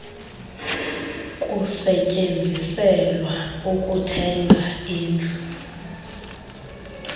kusetyenziselwa ukuthenga indlu